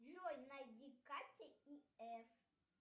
джой найди катя и эф